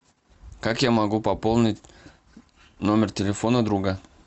как я могу пополнить номер телефона друга